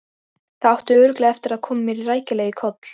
Það átti örugglega eftir að koma mér rækilega í koll.